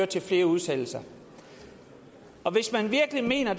til flere udsættelser hvis man virkelig mener at